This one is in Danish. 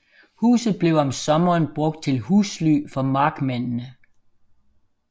Huset blev om sommeren brugt til husly for markmændene